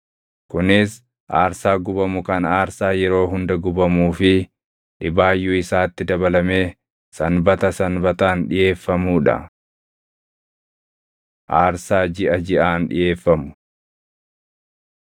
Kunis aarsaa gubamu kan aarsaa yeroo hunda gubamuu fi dhibaayyuu isaatti dabalamee Sanbata Sanbataan dhiʼeeffamuu dha. Aarsaa Jiʼa Jiʼaan Dhiʼeeffamu